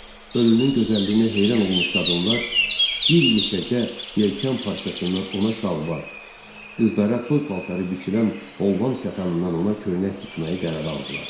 Ölünün gözəlliyinə heyran olmuş qadınlar bir yekəcə yelkan parçasından ona şalvar, qızlara toy paltarı biçilən Holland katanından ona köynək tikməyi qərara aldılar.